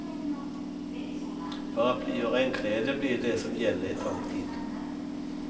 Paraply och regnkläder blir det som gäller ett tag till.